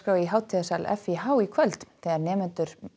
í hátíðarsal f í h í kvöld þegar nemendur